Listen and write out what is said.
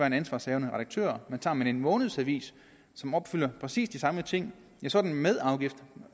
en ansvarshavende redaktør men tager man en månedsavis som opfylder præcis de samme ting så er den med afgift